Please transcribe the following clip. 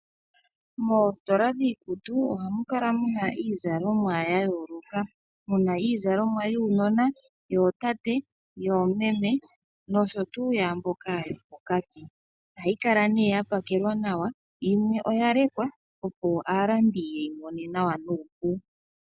Moositola dhiikutu ohamu kala mu na iikutu ya yoolokathana, mu na iizalomwa yuunona, yootate, yoomeme noshowo yaa mboka yopokati. Ohayi kala ya pakelwa nawa, yimwe oya lekwa, opo aalandi ye yi mone nawa nuupu.